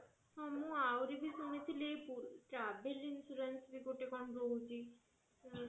ହଁ ମୁଁ ଆହୁରି ବି ଶୁଣିଥିଲି travel insurance ବି ଗୋଟେ କଣ ରହୁଛି